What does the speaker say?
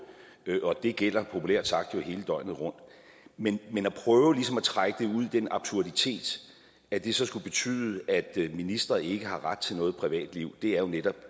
og det gælder populært sagt jo hele døgnet rundt men at prøve ligesom at trække det ud i den absurditet at det så skulle betyde at ministre ikke har ret til noget privatliv er jo netop